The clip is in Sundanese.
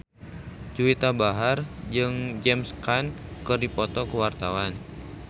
Juwita Bahar jeung James Caan keur dipoto ku wartawan